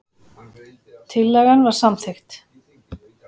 Tillagan var samþykkt.